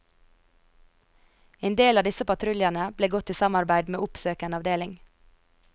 En del av disse patruljene ble gått i samarbeid med oppsøkende avdeling.